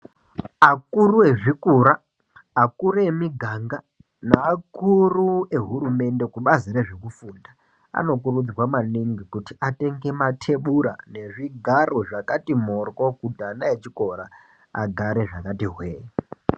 Akuru ezvikora akuru emiganga neakuru ehurumende kubazi rezvekufunda anokurudzirwa maningi kuti atenge matebura nezvigaro zvakati mhoryo kuti ana echikora agare zvakati hwee.